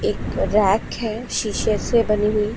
एक राख है शीशे से बनी हुई।